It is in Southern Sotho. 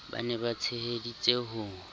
ba ne ba tsheheditse ho